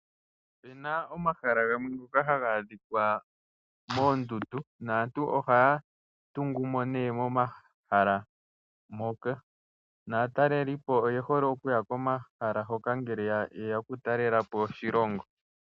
Opuna omahala gamwe haga adhikwa moondundu naantu ohaya tungu mo ne momahala moka naataleli oye hole okuya mo momahala moka ngele yeya oku talela po oshilongo.